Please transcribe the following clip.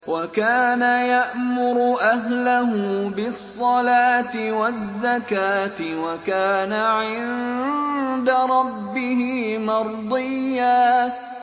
وَكَانَ يَأْمُرُ أَهْلَهُ بِالصَّلَاةِ وَالزَّكَاةِ وَكَانَ عِندَ رَبِّهِ مَرْضِيًّا